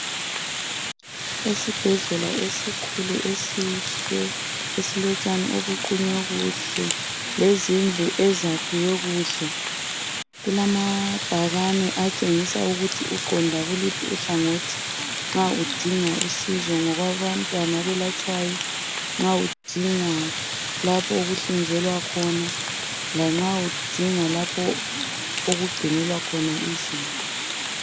Esibhedlela esikhulu esihle esilotshani obuqunywe kuhle lezindlu ezakhiwe kuhle. Kulamabhakani atshengisa ukuthi uqonda kuluphi uhlangothi nxa udinga usizo ngo kwabantwana abelatshwayo nxa udinga okuhlinzelwa khona lanxa udinga lapho okugcinelwa khona izinto.